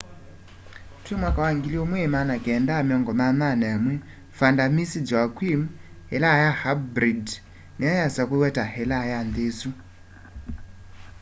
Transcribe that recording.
twi 1981 vanda miss joaquim ilaa ya aibrid niyo yasakuiwe ta ilaa ya nthi isu